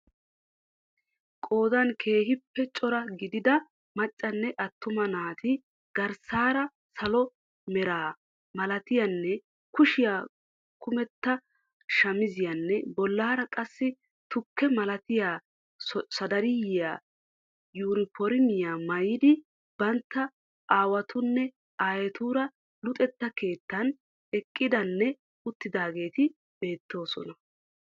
Qoodan keehiippe cora gidida maccanne atuma naati garssaara salo mera malattiyanne kushiya kumetta shamiziyanne bollaara qassi tukke malattiya sadariyiya yuuniformmiyaa maayiid bantta awaatunne aayeetuura luxetta keettaan eqqidanne uttidaageeti beettoosona.